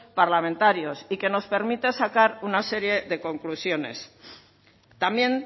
parlamentarios y que nos permite sacar una serie de conclusiones también